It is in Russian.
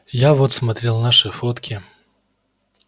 я вот смотрел наши фотки